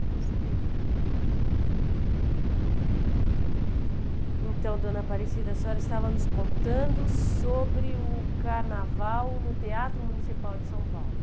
Eu gostaria de... Então, dona Aparecida, a senhora estava nos contando sobre o carnaval no Teatro Municipal de São Paulo.